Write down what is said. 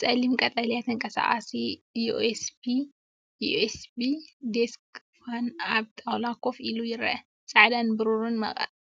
ጸሊም ቀጠልያ ተንቀሳቓሲ ዩኤስቢ ዴስክ ፋን ኣብ ጣውላ ኮፍ ኢሉ ይርአ። ጻዕዳን ብሩርን